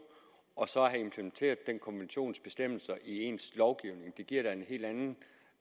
og så det at have implementeret den konventions bestemmelser i ens lovgivning det giver da en helt anden